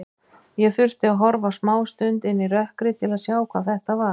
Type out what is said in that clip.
Ég þurfti að horfa smástund inn í rökkrið til að sjá hvað þetta var.